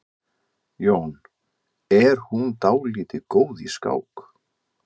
Jón: Er hún dálítið góð í skák?